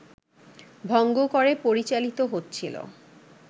ভঙ্গ করে পরিচালিত হচ্ছিল